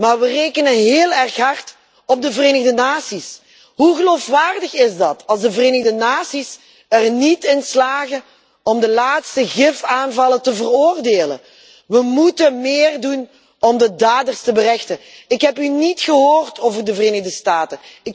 Maar we rekenen heel erg hard op de Verenigde Naties. Hoe geloofwaardig is dat als de Verenigde Naties er niet in slagen om de laatste gifgasaanvallen te veroordelen? We moeten meer doen om de daders te berechten. Ik heb u niet gehoord over de Verenigde Staten.